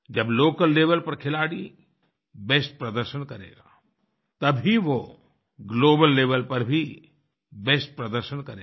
जब local level पर खिलाड़ी बेस्ट प्रदर्शन करेगा तब ही वो ग्लोबल लेवेल पर भी बेस्ट प्रदर्शन करेगा